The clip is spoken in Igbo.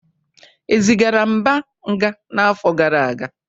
E zigara Mba nga n'afọ gara aga?